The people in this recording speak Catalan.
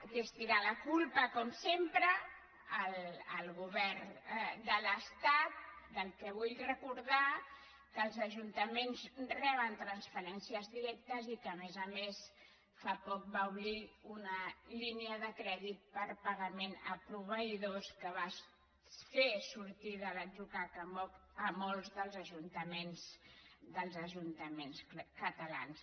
que és tirar la culpa com sempre al govern de l’estat del qual vull recor·dar que els ajuntaments reben transferències directes i que a més a més fa poc va obrir una línia de crèdit per a pagament a proveïdors que va fer sortir de l’atzucac molts dels ajuntaments catalans